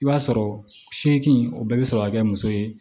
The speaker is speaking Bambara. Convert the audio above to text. I b'a sɔrɔ seegin o bɛɛ bɛ sɔrɔ ka kɛ muso ye